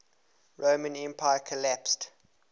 roman empire collapsed